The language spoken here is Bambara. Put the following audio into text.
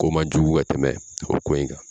Ko man jugu ka tɛmɛ o ko in kan.